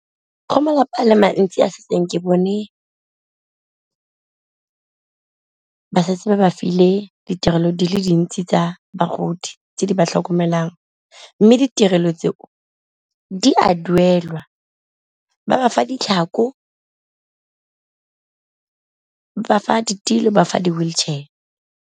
Go malapa a le mantsi a setseng ke bone ba setse ba ba file ditirelo di le dintsi tsa bagodi tse di ba tlhokomelang, mme ditirelo tse o di a duelwa ba ba fa ditlhako, ba ba fa ditilo, ba fa di-wheelchair.